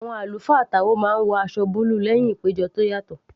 Àwọn àlùfáà táò máa ń wọ aṣọ búlù lẹ́hìn ìpéjọ tó yàtọ̀